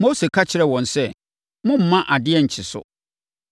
Mose ka kyerɛɛ wɔn sɛ, “Mommma adeɛ nkye so.”